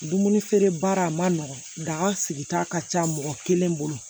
Dumuni feere baara ma nɔgɔn daga sigita ka ca mɔgɔ kelen bolo